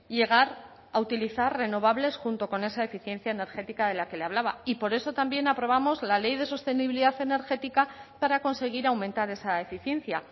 llegar a utilizar renovables junto con esa eficiencia energética de la que le hablaba y por eso también aprobamos la ley de sostenibilidad energética para conseguir aumentar esa eficiencia